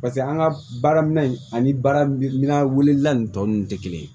Paseke an ka baaraminɛn ani baara minɛn tɔ ninnu tɛ kelen ye